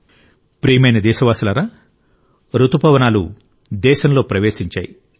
నా ప్రియమైన దేశవాసులారా ఇప్పుడు రుతుపవనాలు కూడా మన దేశానికి వచ్చాయి